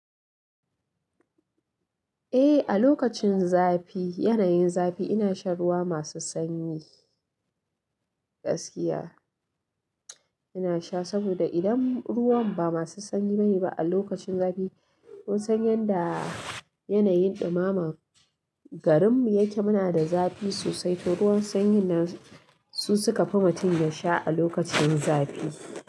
Eh, a lokacin zafi, yanayin zafi ina shan ruwa masu sanyi gaskiya. Ina sha saboda idan ruwan ba masu sanyi bane ba a lokacin zafi, kun san yanda yanayin ɗumamar garinmu yake, muna da zafi sosai, to ruwan sanyi ne su suka fi mutum ya sha a lokacin zafi.